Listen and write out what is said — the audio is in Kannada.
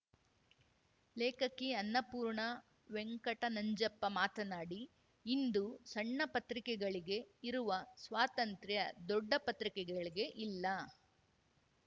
ಲೇಖಕಿ ಅನ್ನಪೂರ್ಣ ವೆಂಕಟನಂಜಪ್ಪ ಮಾತನಾಡಿ ಇಂದು ಸಣ್ಣಪತ್ರಿಕೆಗಳಿಗೆ ಇರುವ ಸ್ವಾತಂತ್ರ್ಯ ದೊಡ್ಡ ಪತ್ರಿಕೆಗಳಿಗೆ ಇಲ್ಲ